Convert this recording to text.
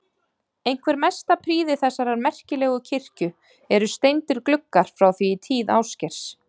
Einhver mesta prýði þessarar merkilegu kirkju eru steindir gluggar frá því í tíð Ásgeirs